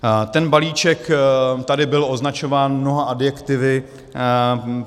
Ten balíček tady byl označován mnoha adjektivy.